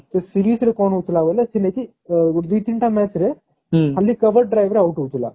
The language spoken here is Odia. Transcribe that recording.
ସେ series ରେ କଣ ହୋଉଥିଲା ବୋଲେ କି ଥିଲେ କି ଗୋଟେ ଦି ତିନି ଟା match ରେ ଖାଲି cover drive ରେ out ହଉଥିଲା।